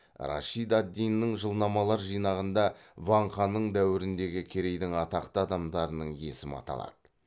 рашид ад диннің жылнамалар жинағында ван ханның дәуіріндегі керейдің атақты адамдарының есімі аталады